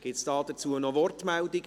Gibt es hierzu weitere Wortmeldungen?